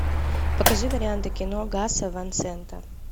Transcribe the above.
покажи варианты кино гаса ван сента